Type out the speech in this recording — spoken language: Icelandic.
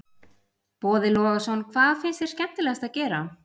Boði Logason: Hvað finnst þér skemmtilegast að gera?